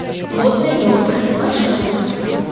модный доктор маршрут